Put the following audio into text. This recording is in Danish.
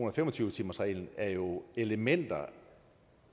og fem og tyve timersreglen er jo elementer